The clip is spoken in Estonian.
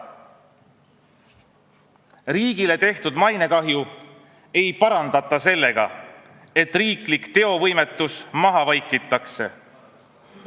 Riigile tekitatud mainekahju ei parandata sellega, et riiklik teovõimetus maha vaikitakse.